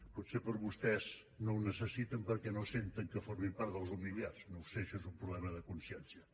potser vostès no ho necessiten perquè no senten que formin part dels humiliats no ho sé això és un problema de consciència